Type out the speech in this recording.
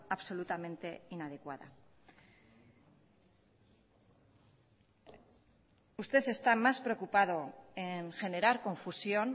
absolutamente inadecuada usted está más preocupado en generar confusión